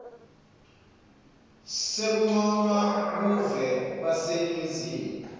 sekuncunywa buve baseningizimu